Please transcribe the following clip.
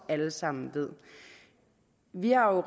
alle sammen ved vi har